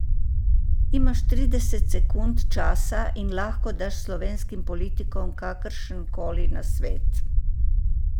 Imaš trideset sekund časa in lahko daš slovenskim politikom kakršen koli nasvet.